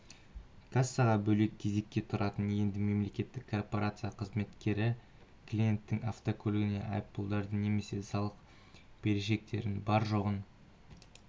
кассаға бөлек кезекке тұратын енді мемлекеттік корпорация қызметкері клиенттің автокөлігіне айыппұлдары немесе салық берешектері бар-жоғын